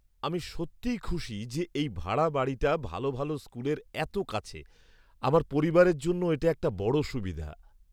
আমি সত্যিই খুশি যে এই ভাড়া বাড়িটা ভালো ভালো স্কুলের এত কাছে! আমার পরিবারের জন্য এটা একটা বড় সুবিধা।